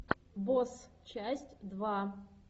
босс часть два